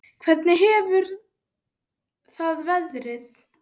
Hvernig hefur það verið?